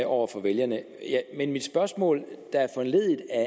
over for vælgerne mit spørgsmål der er foranlediget af